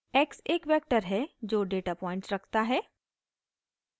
x एक vector है जो डेटा पॉइंट्स रखता है